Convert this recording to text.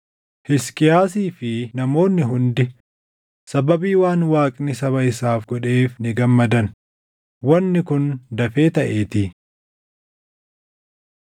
Hisqiyaasii fi namoonni hundi sababii waan Waaqni saba isaaf godheef ni gammadan; wanni kun dafee taʼeetii.